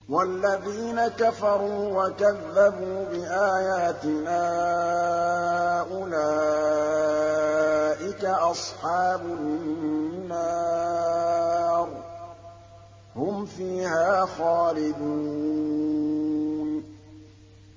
وَالَّذِينَ كَفَرُوا وَكَذَّبُوا بِآيَاتِنَا أُولَٰئِكَ أَصْحَابُ النَّارِ ۖ هُمْ فِيهَا خَالِدُونَ